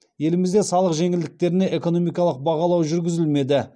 елімізде салық жеңілдіктеріне экономикалық бағалау жүргізілмеді